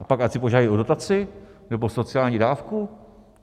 A pak ať si požádají o dotaci nebo sociální dávku?